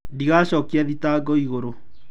Ndũgacokia thitango igũrũ.